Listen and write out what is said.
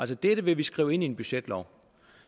dette vil vi skrive ind i en budgetlov